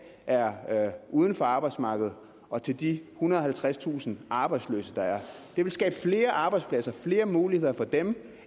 er er uden for arbejdsmarkedet og til de ethundrede og halvtredstusind arbejdsløse der er det vil skabe flere arbejdspladser flere muligheder for dem